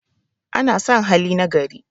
ana San hali na gari